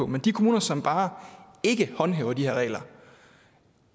med de kommuner som bare ikke håndhæver de her regler